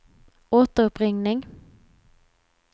återuppringning